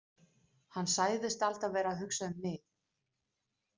Hann sagðist alltaf vera að hugsa um mig.